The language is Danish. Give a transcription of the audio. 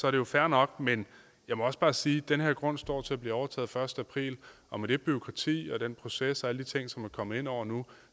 er det jo fair nok men jeg må også bare sige at den her grund står til at blive overtaget den første april og med det bureaukrati og den proces og alle de ting som er kommet ind over nu